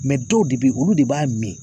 Mɛ dɔw de bɛ olu de b'a min